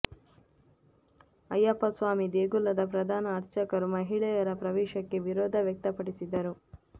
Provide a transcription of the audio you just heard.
ಅಯ್ಯಪ್ಪ ಸ್ವಾಮಿ ದೇಗುಲದ ಪ್ರಧಾನ ಅರ್ಚಕರು ಮಹಿಳೆಯರ ಪ್ರವೇಶಕ್ಕೆ ವಿರೋಧ ವ್ಯಕ್ತಪಡಿಸಿದ್ದರು